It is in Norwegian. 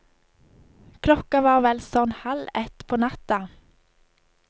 Klokka var vel sånn halv ett på natta.